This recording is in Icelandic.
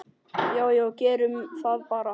Já já, gerum það bara.